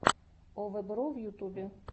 овэбро в ютубе